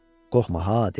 Qorxma ha, dedi.